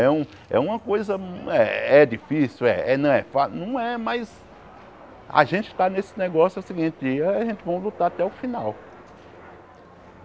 É um é uma coisa... É difícil é, não é fácil, não é, mas... A gente está nesse negócio, é o seguinte, a gente vai lutar até o final.